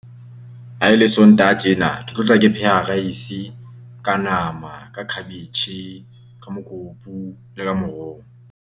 Ha e le Sontaha tjena, ke tlo tla ke pheha rice ka nama, ka khabetjhe, ka mokopu le ka moroho.